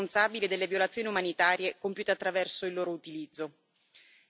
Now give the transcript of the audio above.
Chi è responsabile delle violazioni umanitarie compiute attraverso il loro utilizzo?